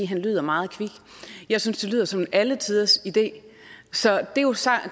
han lyder meget kvik jeg synes det lyder som en alletiders idé